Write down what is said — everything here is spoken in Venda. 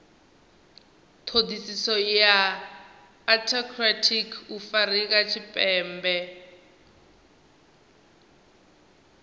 thodisiso ya antarctic afurika tshipembe